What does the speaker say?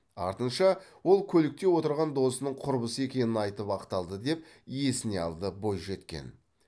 артынша ол көлікте отырған досының құрбысы екенін айтып ақталды деп есіне алды бойжеткен